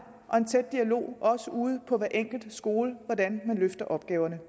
og en tæt dialog også ude på hver enkelt skole om hvordan man løfter opgaverne